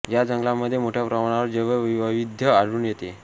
या जंगलांमध्ये मोठ्या प्रमाणावर जैव वैविध्य आढळून येते